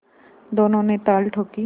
दोनों ने ताल ठोंकी